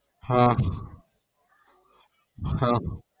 હા હા હા